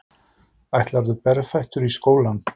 Ætlarðu berfættur í skólann?